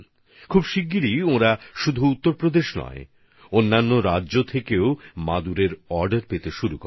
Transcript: কিছুদিনের মধ্যেই তাদের কাছে শুধুমাত্র উত্তরপ্রদেশ নয় অন্য রাজ্য থেকেও মাদুরের বরাত আসা শুরু হয়